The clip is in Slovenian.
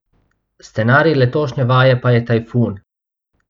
Scenarij letošnje vaje pa je tajfun.